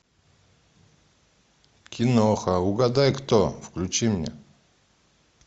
киноха угадай кто включи мне